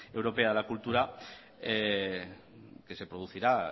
europea de la cultura que se producirá